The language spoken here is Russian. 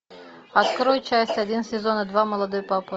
открой часть один сезона два молодой папа